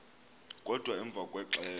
kodwa emva kwexesha